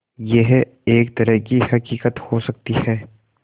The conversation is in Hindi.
यह एक तरह की हक़ीक़त हो सकती है